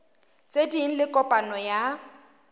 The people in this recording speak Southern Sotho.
tse ding le kopano ya